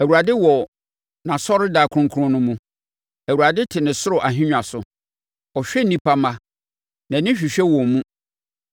Awurade wɔ nʼasɔredan kronkron no mu; Awurade te ne soro ahennwa so. Ɔhwɛ nnipa mma, nʼani hwehwɛ wɔn mu.